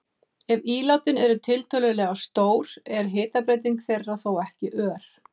Ef ílátin eru tiltölulega stór er hitabreyting þeirra þó ekki ör.